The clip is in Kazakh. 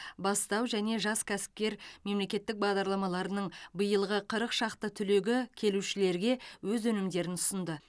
бастау және жас кәсіпкер мемлекеттік бағдарламаларының биылғы қырық шақты түлегі келушілерге өз өнімдерін ұсынды